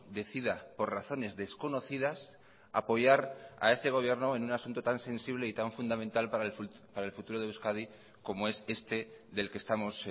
decida por razones desconocidas apoyar a este gobierno en un asunto tan sensible y tan fundamental para el futuro de euskadi como es este del que estamos